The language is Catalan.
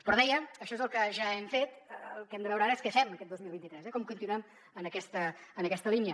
però ho deia això és el que ja hem fet el que hem de veure ara és que fem aquest dos mil vint tres eh com continuem en aquesta línia